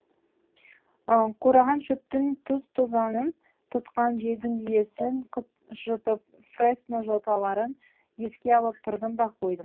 қураған шөптің тұз тозаңын тұтқан желдің иісін жұтып фресно жоталарын еске алып тұрдым да қойдым